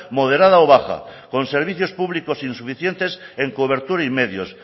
moderada o baja con servicios públicos insuficientes en cobertura y medios